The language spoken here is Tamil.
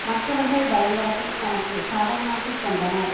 மற்றவர்கள் பயங்கரத்தை தமக்கு சாதகமாக்கிக்கொண்டனர்